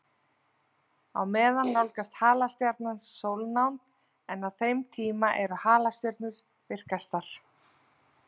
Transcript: Á meðan nálgast halastjarnan sólnánd, en á þeim tíma eru halastjörnur virkastar.